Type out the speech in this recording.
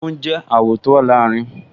Funfun jẹ́ àwọ̀ tó wà láàrin